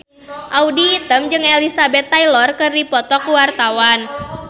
Audy Item jeung Elizabeth Taylor keur dipoto ku wartawan